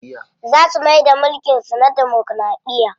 Za su maida mulkin su na damokiraɗiya.